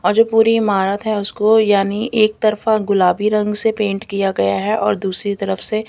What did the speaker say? और जो पूरी इमारत है उसको यानी एक तरफा गुलाबी रंग से पेंट किया गया है और दूसरी तरफ से--